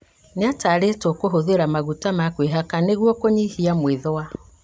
Nĩatarĩtwo kũhũthĩra maguta ma kwĩhaka nĩguo kũnyihia mwĩthũa